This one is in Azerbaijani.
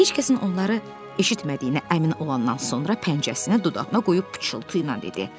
Heç kəsin onları eşitmədiyinə əmin olandan sonra pəncəsinə dodağını qoyub pıçıltı ilə dedi: